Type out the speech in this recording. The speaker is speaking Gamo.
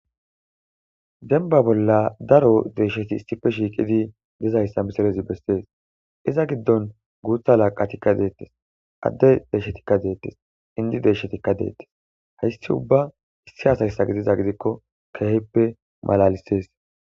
denba bolla daro deesheti issife shiiqidi dizayssa misirezi bessees iza giddon guutha laqatikka deettes adde deeshshetikka deettes indi deeshshetikka deettes haysti ubba issi hasayssa gidiza gidikko keheppe malalisees